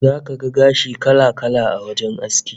Zaka ga gashi kala-kala a wajen aski